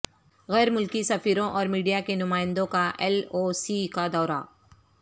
غیر ملکی سفیروں اورمیڈیا کے نمائندوں کا ایل او سی کا دورہ